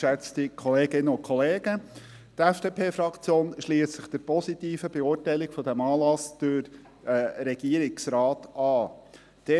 Die FDP-Fraktion schliesst sich der positiven Beurteilung dieses Anlasses durch den Regierungsrat an.